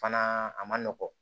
Fana a man nɔgɔn